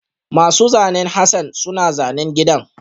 Masu zanen Hassan suna zanen gidan